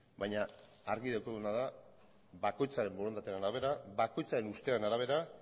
baina argi daukaguna da bakoitzaren borondatearen arabera bakoitzaren ustearen arabera